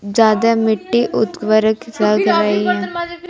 ज्यादा मिट्टी उत्वरक लग रही हैं।